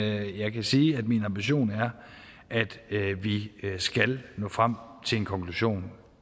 jeg kan sige at min ambition er at vi skal nå frem til en konklusion